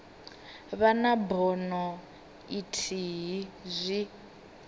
vha na bono ithihi zwi